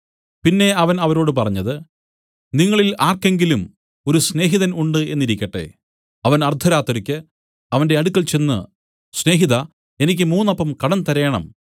പിന്നെ അവൻ അവരോട് പറഞ്ഞത് നിങ്ങളിൽ ആർക്കെങ്കിലും ഒരു സ്നേഹതിൻ ഉണ്ട് എന്നിരിക്കട്ടെ അവൻ അർദ്ധരാത്രിക്ക് അവന്റെ അടുക്കൽ ചെന്ന് സ്നേഹിതാ എനിക്ക് മൂന്ന് അപ്പം കടം തരേണം